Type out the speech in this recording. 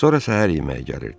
Sonra səhər yeməyi gəlirdi.